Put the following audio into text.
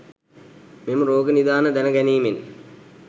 මෙම රෝග නිදාන දැන ගැනීමෙන්